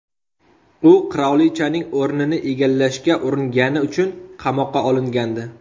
U qirolichaning o‘rnini egallashga uringani uchun qamoqqa olingandi.